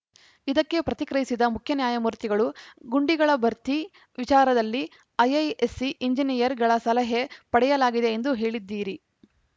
ಇದಕ್ಕೆ ಪ್ರತಿಕ್ರಿಯಿಸಿದ ಮುಖ್ಯ ನ್ಯಾಯಮೂರ್ತಿಗಳು ಗುಂಡಿಗಳ ಭರ್ತಿ ವಿಚಾರದಲ್ಲಿ ಐಐಎಸ್‌ಸಿ ಎಂಜಿನಿಯರ್‌ಗಳ ಸಲಹೆ ಪಡೆಯಲಾಗಿದೆ ಎಂದು ಹೇಳಿದ್ದೀರಿ